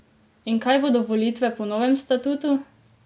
In kdaj bodo volitve po novem statutu?